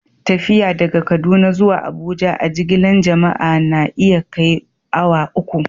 Tafiya daga Kaduna zuwa Abuja a'jigilan jama'a na iya kai awa uku.